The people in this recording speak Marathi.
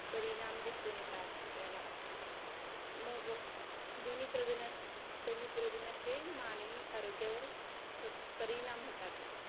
परिणाम दिसून येतात आपल्याला मग धनी प्रदूषणाचे मानवी आरोग्यावर खूप परिणाम होतात.